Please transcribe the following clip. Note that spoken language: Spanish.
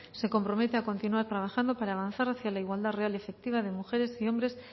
se compromete a continuar trabajando para avanzar hacia la igualdad real y efectiva de mujeres y hombres